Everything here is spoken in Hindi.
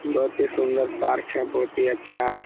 बोहोत ही सुंदर पार्क है। बोहोत ही अच्छा --